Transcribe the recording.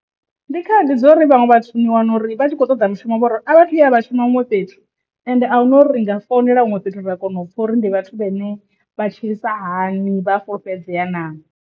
Ndi khaedu dza uri vhaṅwe vhathu ni wana uri vha tshi khou toḓa mishumo vha uri a vhathu ya vha shuma huṅwe fhethu ende ahuna uri ri nga founela huṅwe fhethu ra kona u pfha uri ndi vhathu vhane vha tshilisa hani vha a fulufhedzea na.